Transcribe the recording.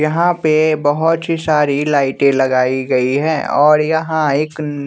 यहाँ पे बहोत ही सारी लाइटें लगाई गई है और यहाँ एक अ--